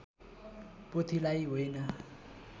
पोथीलाई होइन